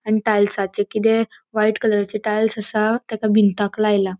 आणि टाएल्साचे किते व्हाइट कलराचे टाइल्स असा ताका भिंताक लायला.